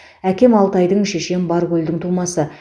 әкем алтайдың шешем баркөлдің тумасы